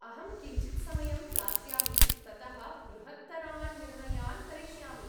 अहं किञ्चित् समयं दास्यामि ततः बृहत्तरान् निर्णयान् करिष्यामि।